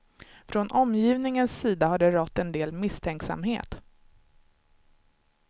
Från omgivningens sida har det rått en del misstänksamhet.